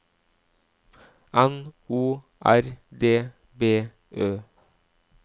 N O R D B Ø